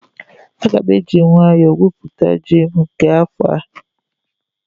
Aga m eji nwayọọ gwuo ji m nke afọ a